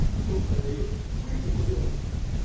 кто продаёт мы продаём